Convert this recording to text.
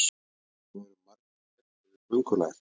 það eru margir hræddir við köngulær